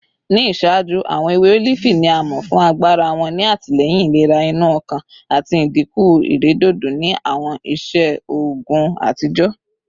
Ni iṣaaju, awọn ewe olifi ni a mọ fun agbara wọn ni atilẹyin ilera inu ọkan ati idinku iredodo ni awọn iṣe oogun atijọ